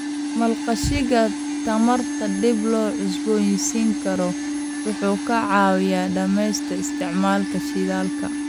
Maalgashiga tamarta dib loo cusboonaysiin karo wuxuu ka caawiyaa dhimista isticmaalka shidaalka.